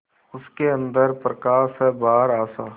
उसके अंदर प्रकाश है बाहर आशा